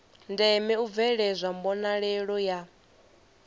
ndeme u bveledzwa mbonalelo ya